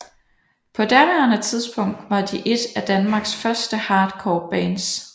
På daværende tidspunkt var de et af Danmarks første hardcore bands